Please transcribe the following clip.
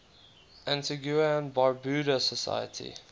antigua and barbuda society